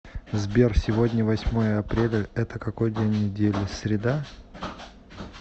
сбер сегодня восьмое апреля это какой день недели среда